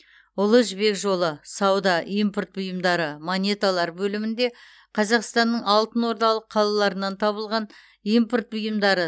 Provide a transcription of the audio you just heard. ұлы жібек жолы сауда импорт бұйымдары монеталар бөлімінде қазақстанның алтынордалық қалаларынан табылған импорт бұйымдары